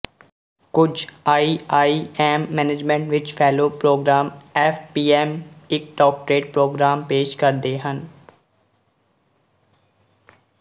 ਕੁਝ IIM management ਵਿੱਚ fellow program FPM ਇੱਕ ਡਾਕਟਰੇਟ ਪ੍ਰੋਗਰਾਮ ਪੇਸ਼ ਕਰਦੇ ਹਨ